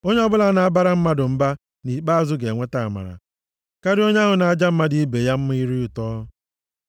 Onye ọbụla na-abara mmadụ mba, nʼikpeazụ ga-enweta amara karịa onye ahụ na-aja mmadụ ibe ya mma ire ụtọ.